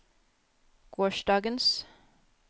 gårsdagens